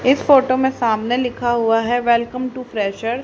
इस फोटो मे सामने लिखा हुआ है वेलकम टू प्लेशर ।